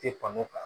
Te kɔnɔ kan